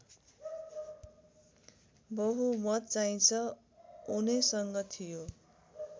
बहुमतचाहिँ उनैसँग थियो